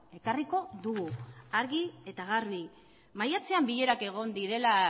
ekarriko dugu argi eta garbi maiatzean bilerak egon direla